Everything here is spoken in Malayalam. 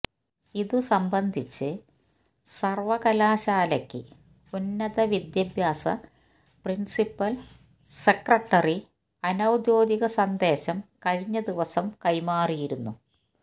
ഇതുസംബന്ധിച്ച് സർവകലാശാലക്ക് ഉന്നത വിദ്യാഭ്യാസ പ്രിൻസിപ്പൽ സെക്രട്ടറി അനൌദ്യോഗിക സന്ദേശം കഴിഞ്ഞ ദിവസം കൈമാറിയിരുന്നു